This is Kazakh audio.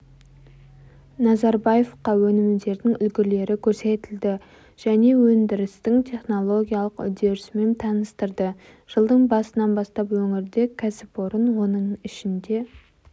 назарбаевқа өнімдердің үлгілері көрсетілді және өндірістің технологиялық үдерісімен таныстырды жылдың басынан бастап өңірде кәсіпорын оның ішінде